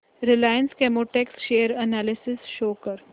Reliance Chemotex share analysis show कर